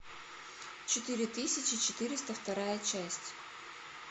четыре тысячи четыреста вторая часть